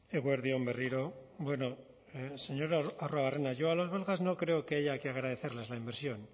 eguerdi on berriro bueno señor arruabarrena yo a las belgas no creo que haya que agradecerles la inversión